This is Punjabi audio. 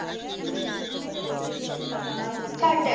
ਆਹੋ ਸਾਡੇ